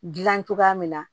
Gilan cogoya min na